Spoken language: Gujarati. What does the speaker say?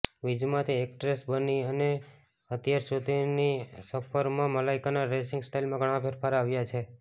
વીજેમાંથી એક્ટ્રેસ બની અને અત્યાર સુધીની સફરમાં મલાઈકાના ડ્રેસિંગ સ્ટાઈલમાં ઘણા ફેરફાર આવ્યા છે